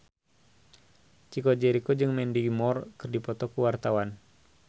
Chico Jericho jeung Mandy Moore keur dipoto ku wartawan